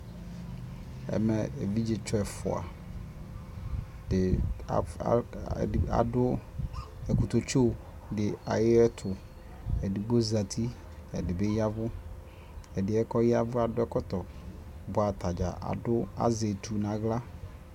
ɛmɛ ɛvidzɛ tsɔ ɛƒʋa di adʋ ɛkʋtɛ tsɔ di ayɛtʋ, ɛdigbɔ zati, ɛdibi yavʋ, ɛdiɛ yavʋɛ adʋ ɛkɔtɔ bʋa atagya azɛ ɛtʋ nʋ ala